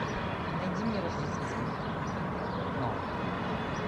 найди мне рождественский фильм новый